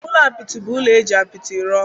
Ụlọ apịtị bụ ụlọ e ji apịtị rụọ